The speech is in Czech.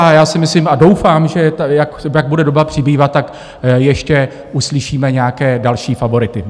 A já si myslím a doufám, že jak bude doba přibývat, tak ještě uslyšíme nějaké další favority.